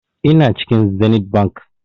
Ina cikin zenith bank